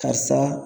Karisa